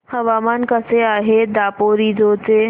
हवामान कसे आहे दापोरिजो चे